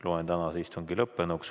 Loen tänase istungi lõppenuks.